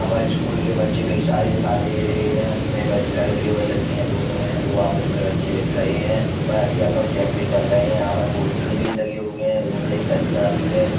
पर स्कूल के बच्चे कई सारे दिखाई दे रहे हैं। इसमे बद लड़के और लड़किया दोनों है बो आपस में बच्चे लिख रहे हैं और आध्यपक चेक भी कर रहे हैं। यहाँ पर पोस्टर भी लगे हुए है। एक गलिया भी है।